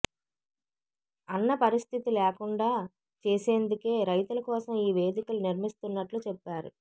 అన్న పరిస్థితి లేకుండా చేసేందుకే రైతుల కోసం ఈ వేదికలు నిర్మిస్తున్నట్లు చెప్పారు